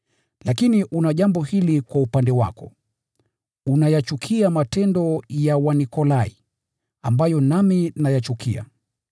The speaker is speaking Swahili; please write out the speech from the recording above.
Lakini una jambo hili kwa upande wako: Unayachukia matendo ya Wanikolai, ambayo nami pia nayachukia.